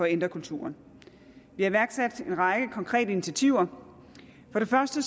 ændre kulturen vi har iværksat en række konkrete initiativer for det første